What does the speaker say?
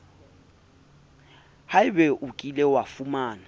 haebe o kile wa fumana